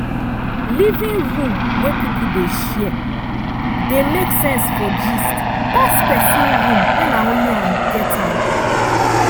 living room wey people dey share dey make sense for gist pass pesin room wey na only am get am.